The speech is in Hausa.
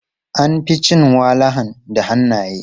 An fi cin walahan da hannaye.